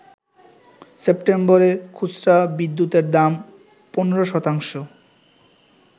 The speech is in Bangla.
সেপ্টেম্বরে খুচরা বিদ্যুতের দাম ১৫ শতাংশ